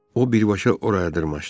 O birbaşa oraya dırmaşdı.